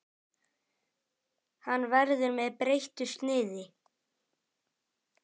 Hann verður með breyttu sniði.